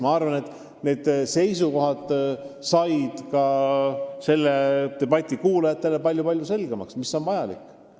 Ma arvan, et kõigi seisukohad said debati kuulajatele palju selgemaks, ja see on vajalik.